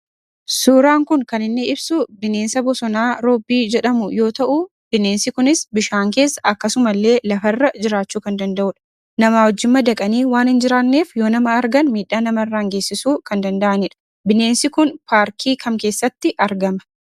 Suuraan kun kan inni ibsu bineensa bosonaa roobbii jedhamu yoo ta'uu bineensi kunis bishaan keessa akkasumallee lafarra jiraachuu kan danda'udha. Namaa wajjin madaqanii waan hin jiraanneef yoo nama argan miidhaa namarraan geessisuu kan danda'anidha. Bineensi kun paarkii kam keessattii argama?